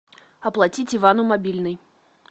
оплатить ивану мобильный